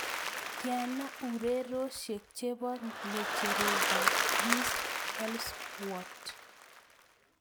Tyana ureryosiek che po ng'echerokap Chris Helmsworth